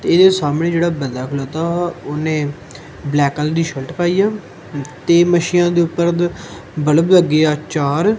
ਤੇ ਇਹ ਸਾਹਮਣੇ ਜਿਹੜਾ ਬੰਦਾ ਖਲੌਤਾ ਵਾ ਓਹਨੇ ਬਲੈਕ ਕਲਰ ਦੀ ਸ਼ਰਟ ਪਾਈ ਆ ਤੇ ਮਸ਼ੀਨ ਦੇ ਉੱਪਰ ਦ ਬੱਲਬ ਲੱਗੇ ਆ ਚਾਰ।